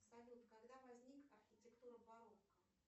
салют когда возник архитектура барокко